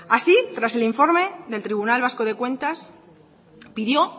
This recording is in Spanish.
así tras el informe del tribunal vasco de cuentas pidió